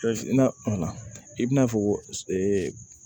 i bina fɔ ko